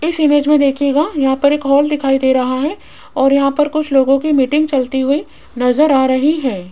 इस इमेज में देखिएगा यहां पर एक हॉल दिखाई दे रहा है और यहां पर कुछ लोगों की मीटिंग चलती हुई नजर आ रही है।